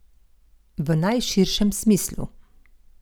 V najširšem smislu.